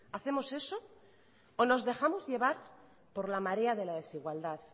hacemos eso o nos dejamos llevar por la marea de la desigualdad